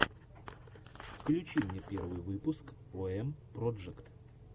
включи мне первый выпуск ом проджект